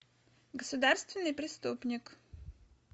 государственный преступник